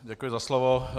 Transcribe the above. Děkuji za slovo.